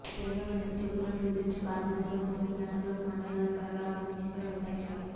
రెండో విడత చెక్కులను ముద్రించే బాధ్యతలను తొమ్మిది బ్యాంకులకు మండలాలవారీగా అప్పగించింది వ్యవసాయశాఖ